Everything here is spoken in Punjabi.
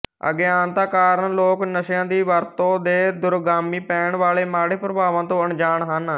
ਅਗਿਆਨਤਾ ਕਾਰਨ ਲੋਕ ਨਸ਼ਿਆਂ ਦ ਵਰਤੋਂ ਦੇ ਦੁਰਗਾਮੀ ਪੈਣ ਵਾਲੇ ਮਾੜੇ ਪ੍ਰਭਾਵਾਂ ਤੋਂ ਅਣਜਾਣ ਹਨ